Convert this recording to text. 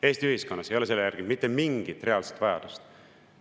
Eesti ühiskonnas ei ole selle järele mitte mingit reaalset vajadust!